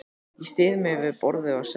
Ég styð mig við borðið og sest.